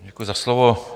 Děkuji za slovo.